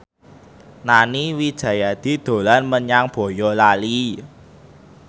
Nani Wijaya dolan menyang Boyolali